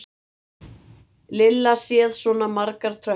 Lilla séð svona margar tröppur.